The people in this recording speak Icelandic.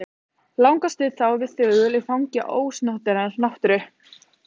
Langa stund lágum við þögul í fangi ósnortinnar náttúru.